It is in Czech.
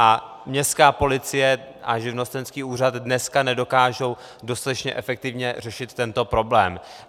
A městská policie a živnostenský úřad dneska nedokážou dostatečně efektivně řešit tento problém.